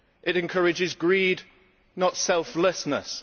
it encourages greed, not selflessness